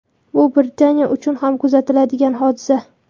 Bu Britaniya uchun kam kuzatiladigan hodisa.